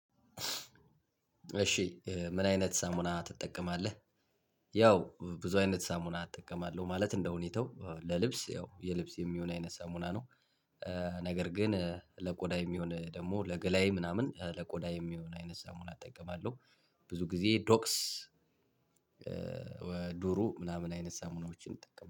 እሺ ምን አይነት ሳሙና ትጠቀማለህ? ያው ብዙ አይነት ሳሙና እጠቀማለሁ። ማለት እንደሁኔታው ለልብስ ያው የልብስ የሚሆን አይነት ሳሙና ነው። ነገር ግን ለቆዳ የሚሆን ደግሞ ለገላዬ ምናምን ለቆዳ የሚሆን አይነት ሰሞን አጠቀማለሁ። ብዙ ጊዜ ዶክስ ወይ ዱሩ ምናምን አይነት ሳሙናዎችን እጠቀማለሁ።